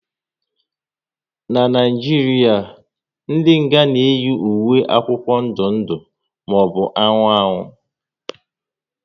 N'Naijiria, ndị nga na eyi ùwé akwụkwọ ndụ ndụ maọbụ anụnụ anụnụ